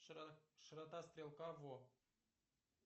широта стрелка во